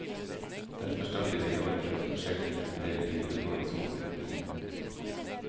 Derfor starter de nå et prøveprosjekt hvor endel videregående skoler blir med.